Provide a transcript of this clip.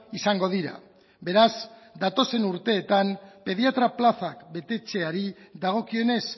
izango dira beraz datozen urteetan pediatra plaza betetzeari dagokionez